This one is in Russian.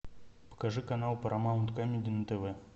покажи канал парамаунт камеди на тв